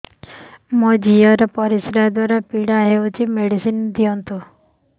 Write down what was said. ମୋ ଝିଅ ର ପରିସ୍ରା ଦ୍ଵାର ପୀଡା ହଉଚି ମେଡିସିନ ଦିଅନ୍ତୁ